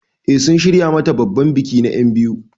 Eh sun shirya mata babban biki na enbiyu.